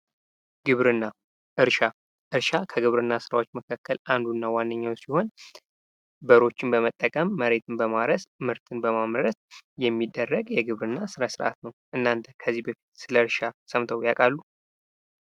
ግብርና እርሻ እርሻ ከግብርና ስራዎች መካከል አንዱና ዋነኛው ሲሆን በሮችን በመጠቀም መሬትን በማረስ ምርትን በማምረት የሚደረግ የግብርና ስነስርአት ነው። እናተ ከዚህ በፊት ስለእርሻ ሰምተው ያውቃሉ?